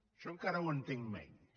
això encara ho entenc menys